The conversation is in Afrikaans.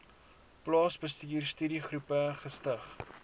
plaasbestuur studiegroepe gestig